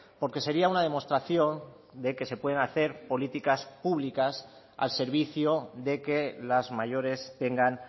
porque sería una demostración de que se pueden hacer políticas públicas al servicio de que las mayores tengan